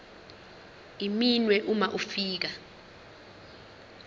iminwe uma ufika